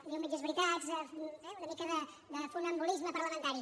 diuen mitges veritats eh una mica de funambulisme parlamentari